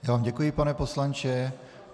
Já vám děkuji, pane poslanče.